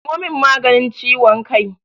Samo min maganin ciwon kai!